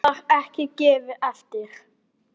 Það var ekki gefið eftir.